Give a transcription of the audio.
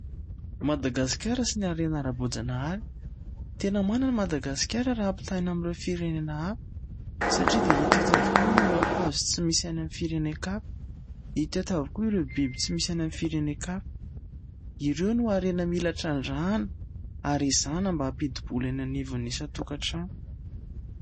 Madagasikara sy ny harena ara-boajanahary, tena manana Madagasikara raha ampitahaina amin'ireo firenena hafa satria dia hita eto avokoa ireo hazo tsy misy any amin'ny firenen-kafa, hita eto avokoa ireo biby tsy misy any amin'ny firenen-kafa. Ireo ny harena mila trandrahana ary izany mba hampidi-bola eny anivon'ny isan-tokantrano.